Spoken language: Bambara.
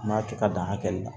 An b'a kɛ ka dan hakɛ la